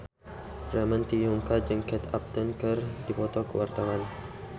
Ramon T. Yungka jeung Kate Upton keur dipoto ku wartawan